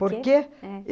Por quê? É.